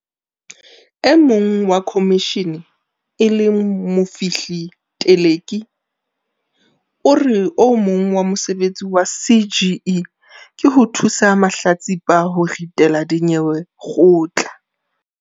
E mong wa khomishene e leng Mofihli Teleki o re o mong wa mesebetsi ya CGE ke ho thusa mahlatsipa ho ritela dinyewe kgotla.